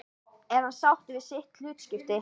Er hann sáttur við sitt hlutskipti?